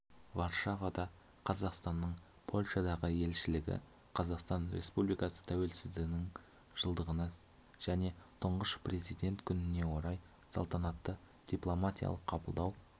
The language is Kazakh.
варшавада қазақстанның польшадағы елшілігі қазақстан республикасы тәуелсіздігінің жылдығына және тұңғыш президент күніне орай салтанатты дипломатиялық қабылдау